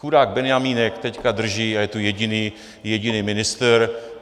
Chudák benjamínek teď drží a je tu jediný ministr.